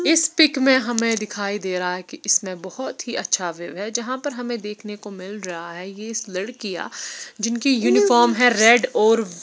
इस पीक मे हमे दिखाई दे रहा है की इसमे बहुत ही अच्छा व्यू है जहां पर हम देखने को मिल रहा है ये इस लड़किया जिनकी यूनिफ़ॉर्म है रेड और--